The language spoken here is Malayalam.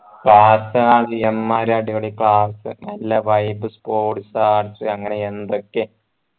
വാസ്തവം അത് യമ്മാതിരി അടിപൊളി class നല്ല vibe sports arts അങ്ങനെ എന്തൊക്കെ